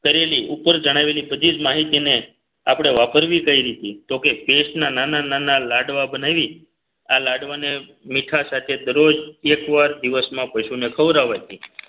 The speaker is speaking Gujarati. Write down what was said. કરેલી ઉપર જણાવેલી પછી જ માહિતીને આપણે વાપરવી કઈ રીતે તો કે paste ના નાના નાના લાડવા બનાવી આ લાડવાને મીઠા સાથે દરરોજ એકવાર દિવસમાં પશુને ખવડાવવાથી